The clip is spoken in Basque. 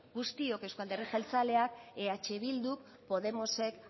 guztiok euzko alderdi jeltzaleak eh bilduk podemosek